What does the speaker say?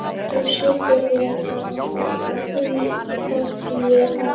Þú skiptir þér þá ekkert af því þótt ég fari í sund?